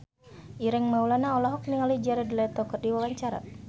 Ireng Maulana olohok ningali Jared Leto keur diwawancara